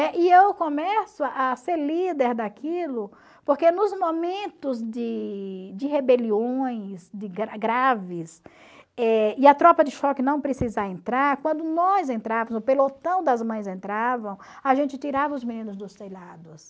e eu começo a ser líder daquilo porque nos momentos de de rebeliões graves eh e a tropa de choque não precisar entrar, quando nós entrávamos, o pelotão das mães entravam, a gente tirava os meninos dos telhados.